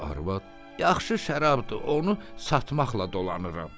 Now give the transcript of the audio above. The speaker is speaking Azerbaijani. Qoca arvad: "Yaxşı şərabdır, onu satmaqla dolanırım.